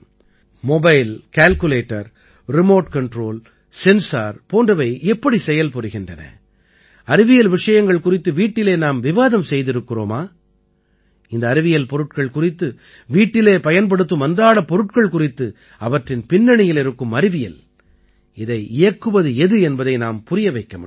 mobile calculator remote control sensor போன்றவை எப்படி செயல் புரிகின்றன அறிவியல் விஷயங்கள் குறித்து வீட்டிலே நாம் விவாதம் செய்திருக்கிறோமா இந்த அறிவியல் பொருட்கள் குறித்து வீட்டிலே பயன்படுத்தும் அன்றாடப் பொருட்கள் குறித்து அவற்றின் பின்னணியில் இருக்கும் அறிவியல் இதை இயக்குவது எது என்பதை நாம் புரிய வைக்க முடியும்